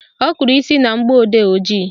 Ọ kụrụ isi na mgbọodee ojii